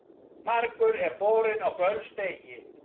Margur er borinn á böls degi.